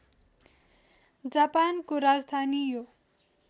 जापानको राजधानी यो